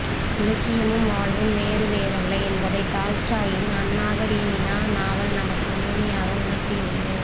இலக்கியமும் வாழ்வும் வேறு வேறல்ல என்பதை டால்ஸ்டாயின் அன்னாகரீனினா நாவல் நமக்கு முழுமையாக உணர்த்துகிறது